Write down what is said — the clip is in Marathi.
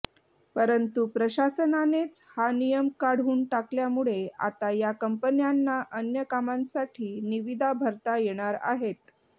परंतु प्रशासनानेच हा नियम काढून टाकल्यामुळे आता या कंपन्यांना अन्य कामांसाठी निविदा भरता येणार आहेत